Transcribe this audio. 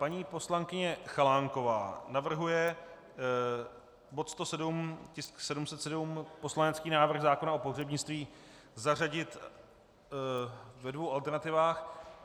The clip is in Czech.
Paní poslankyně Chalánková navrhuje bod 107, tisk 707, poslanecký návrh zákona o pohřebnictví, zařadit ve dvou alternativách.